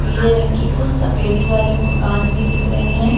पीले रंग कि कुछ सफेदी वाले मकान भी दिख रहे है।